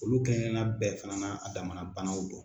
Olu kelenan kelenan bɛɛ fana n'a a damana banaw do.